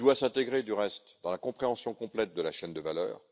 Il doit s'intégrer dans la compréhension complète de la chaîne de valeur.